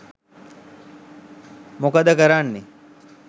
මොකද කරන්නේ